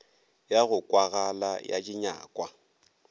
ya go kwagala ya dinyakwa